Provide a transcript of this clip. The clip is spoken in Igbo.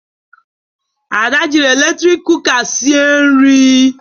Ada jịrị eletrik kụka sịe nri